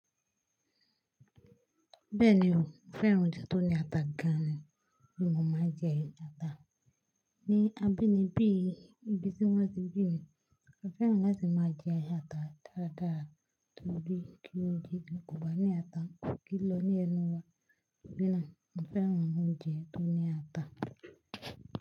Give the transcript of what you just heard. Bẹ́ẹ̀ni o, mo fẹ́ràn oúnjẹ tó ní ata gan-an, bí mo máa jẹ ata. Ni abínibí ìgbésí wọ́ọ̀sì Benin, a fẹ́ràn láti máa jẹ ata dáradára torí kí oúnjẹ Yorùbá ní ata kì í lọ ní ẹnu wa. Gẹ́gẹ́ bí náà, mo fẹ́ràn oúnjẹ tó ní ata.